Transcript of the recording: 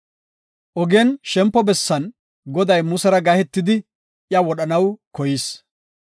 Ogen shempo bessan Goday Musera gahetidi iya wodhanaw koyis.